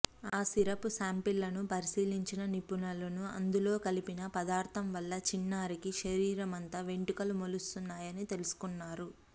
ఆ సిరప్ శాంపిళ్లను పరిశీలించిన నిపుణులు అందులో కలిపిన పదార్థం వల్ల చిన్నారికి శరీరమంతా వెంటుకలు మొలుస్తున్నాయని తెలుసుకున్నారు